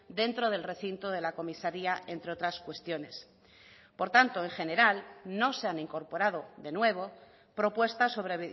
dentro del recinto de la comisaría entre otras cuestiones por tanto en general no se han incorporado de nuevo propuestas sobre